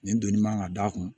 Nin donni man ka d'a kun